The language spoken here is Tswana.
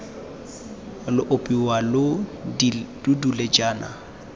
lo ipona lo dule jaana